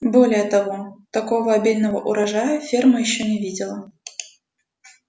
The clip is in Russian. более того такого обильного урожая ферма ещё не видела